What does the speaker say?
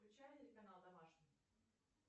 включай телеканал домашний